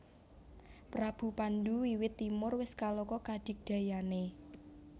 Prabu Pandhu wiwit timur wis kaloka kadigdayané